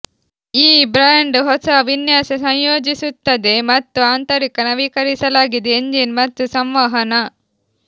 ಈ ಬ್ರ್ಯಾಂಡ್ ಹೊಸ ವಿನ್ಯಾಸ ಸಂಯೋಜಿಸುತ್ತದೆ ಮತ್ತು ಆಂತರಿಕ ನವೀಕರಿಸಲಾಗಿದೆ ಎಂಜಿನ್ ಮತ್ತು ಸಂವಹನ